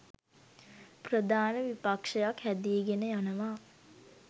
ප්‍රධාන විපක්ෂයක් හැදීගෙන යනවා.